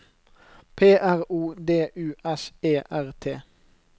P R O D U S E R T